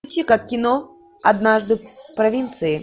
включи ка кино однажды в провинции